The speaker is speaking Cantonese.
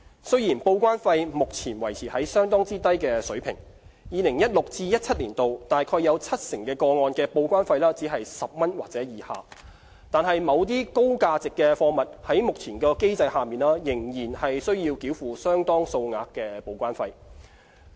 雖然報關費目前維持在相當低的水平 ，2016-2017 年度約七成個案的報關費只是10元或以下。但是，某些高價值貨物在目前的機制下，仍須繳付相當數額的報關費。